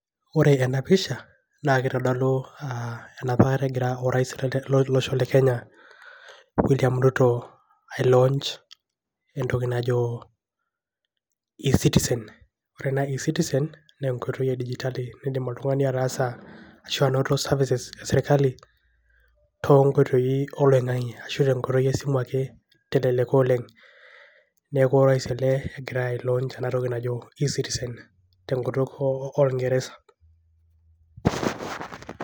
Ore ena pisha naake itadolu a enapa kata egira orais lo losho le Kenya William Ruto ailaunch entoki najo eCitizen. Ore naa eCitizen naa enkoitoi e dijitali niindim oltung'ani ataasa ashu anoto services e sirkali to nkoitoi oloing'ang'e ashu tenkoitoi esimu ake teleleka oleng'. Neeku orais ele ogira ailaunch ena toki najo eCitizen tenkutuk o orng'ereza.